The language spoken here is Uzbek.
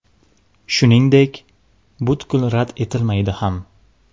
Shuningdek, butkul rad etilmaydi ham.